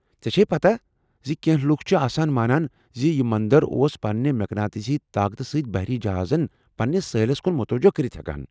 ژےٚ چھیہِ پتاہ زِ کینٛہہ لوکھ آسان مانان زِ یہِ مندر اوس پننہِ مقناطیسی طاقتہٕ سۭتۍ بحری جہازن پننس سٲحلس کُن متوجہ کرِتھ ہیكان ؟